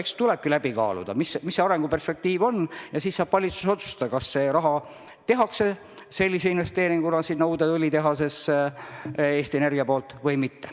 Eks tuleb läbi kaaluda, milline on arenguperspektiiv, ja siis saab valitsus otsustada, kas Eesti Energia investeerib selle raha uude õlitehasesse või mitte.